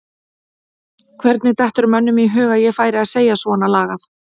Hvernig dettur mönnum í hug að ég færi að segja svona lagað?